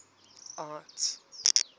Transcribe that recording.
art